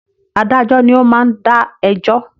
Adájọ́ ni o ma ń dá ẹjọ́